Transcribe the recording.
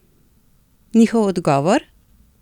Njihov odgovor?